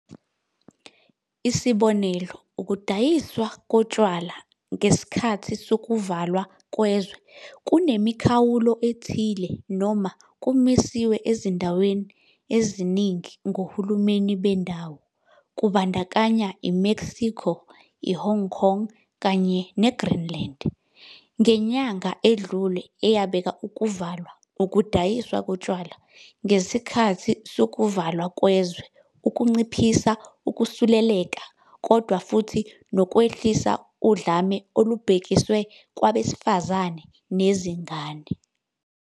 Esikhathini esingangeminyaka emithathu, sibuzwile ubufakazi obuchaza ngezinsolo zenkohlakalo ezenziwe nezisezingeni eliphezulu kakhulu. Sizwile ngezenzo eziholele ekuntshontshweni kwezigidigidi zamarandi zemali kahulumeni. Sizwile ukuthi zingakanani izikhungo zikahulumeni kanye nezinkampani ezenganyelwe ngumbuso ezicekelwe phansi ngamabomu.